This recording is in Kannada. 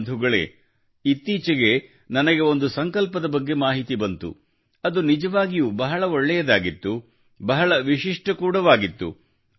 ಬಂಧುಗಳೇ ಆದರೆ ಇತ್ತೀಚೆಗೆ ನನಗೆ ಒಂದು ಸಂಕಲ್ಪದ ಬಗ್ಗೆ ಮಾಹಿತಿ ಬಂತು ಅದು ನಿಜವಾಗಿಯೂ ಬಹಳ ಒಳ್ಳೆಯದಾಗಿತ್ತು ಬಹಳ ವಿಶಿಷ್ಟ ಕೂಡ ಆಗಿತ್ತು